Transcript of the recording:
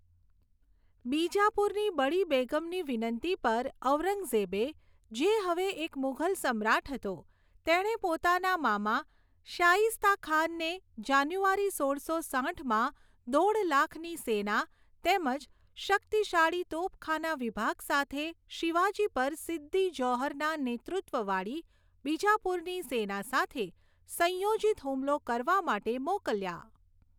બીજાપુરની બડી બેગમની વિનંતી પર, ઔરંગઝેબે, જે હવે એક મુઘલ સમ્રાટ હતો, તેણે પોતાના મામા શાઇસ્તા ખાનને, જાન્યુઆરી સોળસો સાઠમાં દોઠ લાખની સેના તેમજ શક્તિશાળી તોપખાના વિભાગ સાથે શિવાજી પર સિદ્દી જૌહરના નેતૃત્વવાળી બીજાપુરની સેના સાથે સંયોજિત હુમલો કરવા માટે મોકલ્યા.